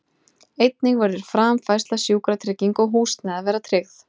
Einnig verður framfærsla, sjúkratrygging og húsnæði að vera tryggð.